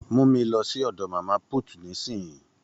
Mú mi lọ sí ọdọ màmá put nisinyi!